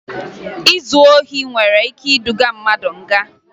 Izu ohi nwere ike iduga mmadụ nga